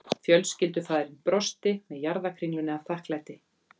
Fjölskyldufaðirinn brosti með jarðarkringlunni af þakklæti